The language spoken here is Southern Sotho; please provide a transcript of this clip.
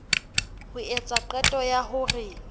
ho etswa qeto ya hore